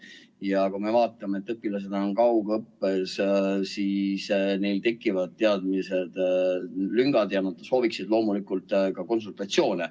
Ja kui me vaatame, et õpilased on kaugõppes, siis neil tekivad teadmistes lüngad ja nad sooviksid loomulikult ka konsultatsioone.